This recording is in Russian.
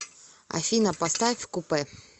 афина поставь купэ